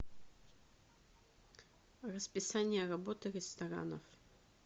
расписание работы ресторанов